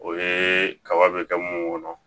O ye kaba bɛ kɛ mun kɔnɔ